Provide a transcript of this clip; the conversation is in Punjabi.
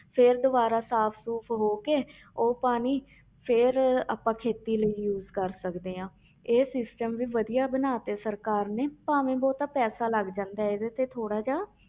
ਫਿਰ ਦੁਬਾਰਾ ਸਾਫ਼ ਸੂਫ਼ ਹੋ ਕੇ ਉਹ ਪਾਣੀ ਫਿਰ ਆਪਾਂ ਖੇਤੀ ਲਈ use ਕਰ ਸਕਦੇ ਹਾਂ ਇਹ system ਵੀ ਵਧੀਆ ਬਣਾ ਦਿੱਤੇ ਸਰਕਾਰ ਨੇ ਭਾਵੇਂ ਬਹੁਤਾ ਪੈਸਾ ਲੱਗ ਜਾਂਦਾ ਹੈ ਇਹਦੇ ਤੇ ਥੋੜ੍ਹਾ ਜਿਹਾ